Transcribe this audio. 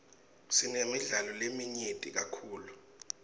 sinemidlalo leminyenti kakhulu